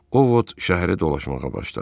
Ovot şəhərə dolaşmağa başladı.